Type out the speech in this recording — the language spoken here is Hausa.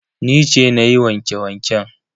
Ni ce na yi wanke-wanken.